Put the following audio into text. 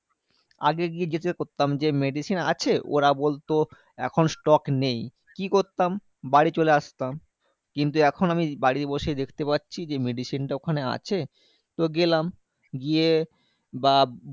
আগে গিয়ে জিজ্ঞেস করতাম? যে medicine আছে? ওরা বলতো এখন stock নেই, কি করতাম? বাড়ি চলে আসতাম। কিন্তু এখন আমি বাড়ি বসে দেখতে পাচ্ছি যে, medicine টা ওখানে আছে। তো গেলাম গিয়ে বা